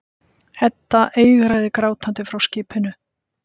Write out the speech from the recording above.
Edda eigraði grátandi frá skipinu.